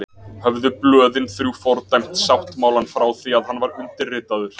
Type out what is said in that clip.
Höfðu blöðin þrjú fordæmt sáttmálann frá því að hann var undirritaður.